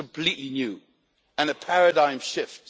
This is completely new and a paradigm shift.